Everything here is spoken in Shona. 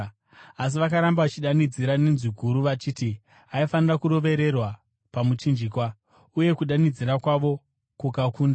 Asi vakaramba vachidanidzira nenzwi guru vachiti aifanira kurovererwa pamuchinjikwa, uye kudanidzira kwavo kukakunda.